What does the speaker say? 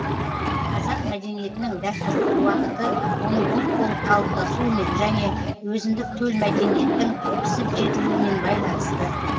қазақ мәдениетінің дәстүрлік уақыты оның ұлт болып қалыптасуымен және өзіндік төл мәдениеттің пісіп жетілуімен байланысты